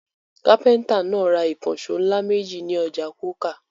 Kápẹ́ńtà náà ra ìkànṣó ńlá méjì ní ọjà Coker.